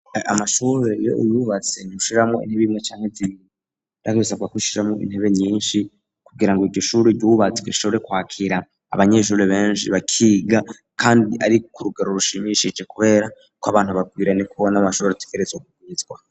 Amashure yo yubatse nishiramo intebe yimwe cyanke zibirakiisaka kishiramo intebe nyinshi kugira ngo igishuri gubatswe ishobore kwakira abanyeshuri benshi bakiga kandi ari ku rugero rushimishije kubera ko abantu babwirane kubona amashobre tikeretso gugunitswa.